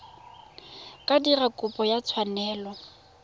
ka dira kopo ya tshwanelo